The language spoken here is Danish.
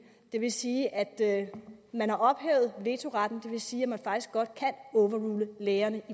det vil sige at man har ophævet vetoretten og det vil sige at man faktisk godt kan overrule lægerne